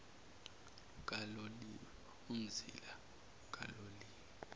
lukaloliwe umzila kaloliwe